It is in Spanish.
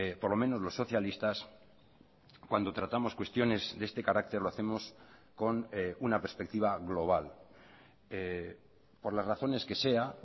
por lo menos los socialistas cuando tratamos cuestiones de este carácter lo hacemos con una perspectiva global por las razones que sea